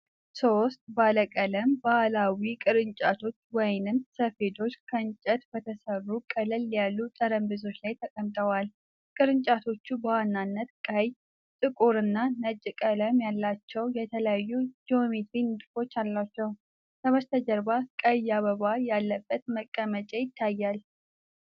ሦስት ባለቀለም ባህላዊ ቅርጫቶች/ሰፌዶች ከእንጨት በተሠሩ ቀለል ያሉ ጠረጴዛዎች ላይ ተቀምጠዋል። ቅርጫቶቹ በዋናነት ቀይ፣ ጥቁርና ነጭ ቀለም ያላቸው የተለያዩ ጂኦሜትሪያዊ ንድፎች አሏቸው። ከበስተጀርባ ቀይ አበባ ያለበት ማስቀመጫ ይታያል።